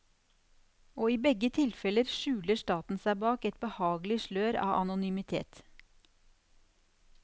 Og i begge tilfeller skjuler staten seg bak et behagelig slør av anonymitet.